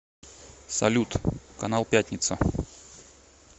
салют канал пятница